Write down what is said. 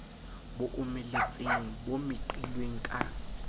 bo omeletseng bo meqilweng ka